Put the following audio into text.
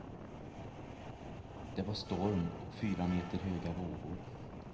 Det var storm och fyra meter höga vågor.